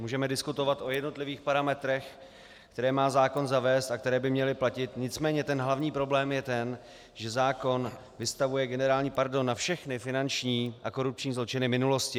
Můžeme diskutovat o jednotlivých parametrech, které má zákon zavést a které by měly platit, nicméně ten hlavní problém je ten, že zákon vystavuje generální pardon na všechny finanční a korupční zločiny minulosti.